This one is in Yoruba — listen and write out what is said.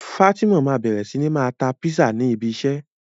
Fatima ma bẹrẹ sí ní ma ta Písà ni ibi isẹ́